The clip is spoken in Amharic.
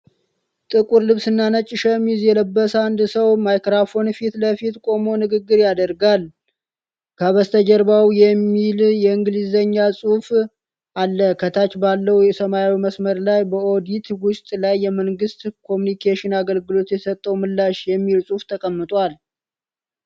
ጥቁር ልብስና ነጭ ሸሚዝ የለበሰ አንድ ሰው ማይክሮፎን ፊት ለፊት ቆሞ ንግግር ያደርጋል። ከበስተጀርባው " የሚል የእንግሊዝኛ ጽሁፍ አለ። ከታች ባለው ሰማያዊ መስመር ላይ "በኦዲት ውጤት ላይ የመንግሥት ኮሙዩኒኬሽን አገልግሎት የሰጠው ምላሽ" የሚል ጽሁፍ ተቀምጧል።